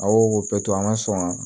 A y'o bɛɛ to an ka sɔn